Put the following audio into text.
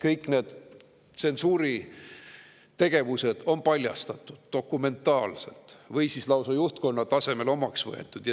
Kõik need tsensuuri tegevused on paljastatud dokumentaalselt või lausa juhtkonna tasemel omaks võetud.